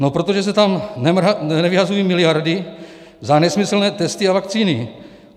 No protože se tam nevyhazují miliardy za nesmyslné testy a vakcíny.